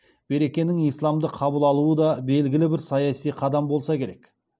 беркенің исламды қабыл алуы да белгілі бір саяси қадам болса керек